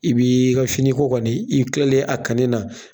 I b'i ka finiko kɔni i kilalen a kanni na